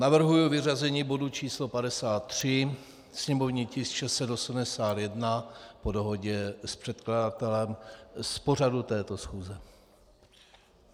Navrhuji vyřazení bodu číslo 53, sněmovní tisk 681, po dohodě s předkladatelem z pořadu této schůze.